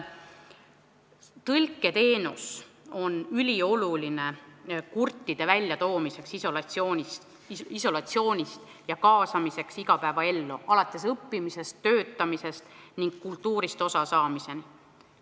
Tõlketeenus on ülioluline kurtide väljatoomiseks isolatsioonist ja nende kaasamiseks igapäevaellu, alates õppimisest, töötamisest ning kultuurist osasaamisest.